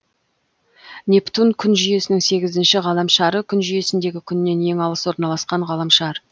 нептун күн жүйесінің сегізінші ғаламшары күн жүйесіндегі күннен ең алыс орналасқан ғаламшар